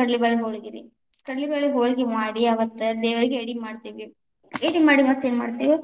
ಕಡ್ಲಿಬ್ಯಾಳಿ ಹೋಳಗಿರಿ, ಕಡ್ಲಿಬ್ಯಾಳಿ ಹೋಳಗಿ ಮಾಡಿ, ಅವತ್ತ ದೇವರಿಗೆ ಎಡಿ ಮಾಡ್ತೇವಿ. ಎಡಿ ಮಾಡಿ ಮತ್ತ ಏನ್‌ ಮಾಡ್ತೇವಿ